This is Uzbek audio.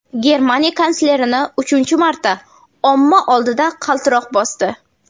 Germaniya kanslerini uchinchi marta omma oldida qaltiroq bosdi.